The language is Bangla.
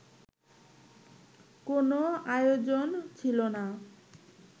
কোনো আয়োজন ছিল না